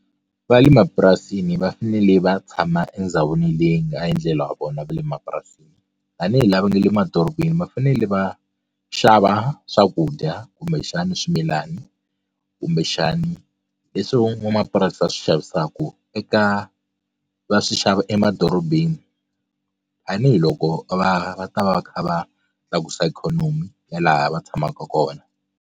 Va le mapurasini va fanele va tshama endhawini leyi nga a endlela wa vona va le mapurasini tanihi lava nga le madorobeni va fanele va xava swakudya kumbexana swimilana kumbexani leswi van'wamapurasi va swi xavisaka eka va swi xava emadorobeni tanihiloko va va ta va va kha va tlakusa ikhonomi ya laha va tshamaka kona.